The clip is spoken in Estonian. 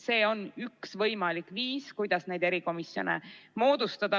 See on üks võimalik viis, kuidas erikomisjone moodustada.